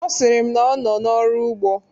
Ọ sịrị m n' ọ nọ ọrụ n'ugbo.